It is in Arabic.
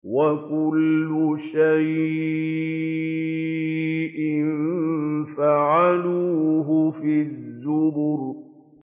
وَكُلُّ شَيْءٍ فَعَلُوهُ فِي الزُّبُرِ